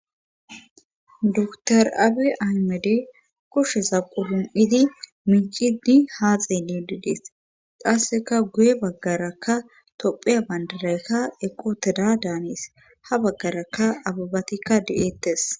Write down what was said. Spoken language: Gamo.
dtr abe aymede kusheza qudum7idi miicidi haa xeyni diides qasseka guye baggarakka topheya bandaraykka eqooteda daanes ha baggaraka ababatikka di7eettes